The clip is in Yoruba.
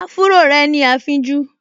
Áfúró rẹ̀ ní afínjú